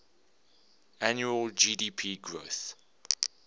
annual gdp growth